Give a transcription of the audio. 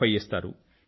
50 ఇస్తారు